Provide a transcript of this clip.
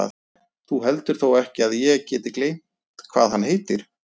Þú heldur þó ekki að ég geti gleymt hvað hann heitir?